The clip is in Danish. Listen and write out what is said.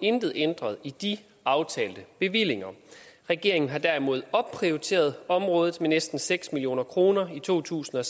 intet ændret i de aftalte bevillinger regeringen har derimod opprioriteret området med næsten seks million kroner i to tusind og